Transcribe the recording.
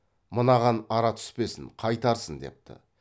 мынаған ара түспесін қайтарсын депті